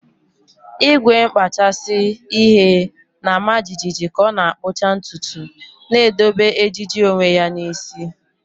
Igwe nkpachasị ihe na-ama jijiji ka ọ na-akpụcha ntutu, na-edobe ejiji onwe ya n'isi.